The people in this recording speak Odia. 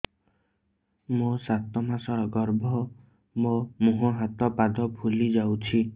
ମୋ ସାତ ମାସର ଗର୍ଭ ମୋ ମୁହଁ ହାତ ପାଦ ଫୁଲି ଯାଉଛି